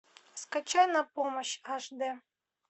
скачай на помощь аш д